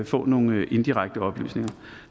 få nogle indirekte oplysninger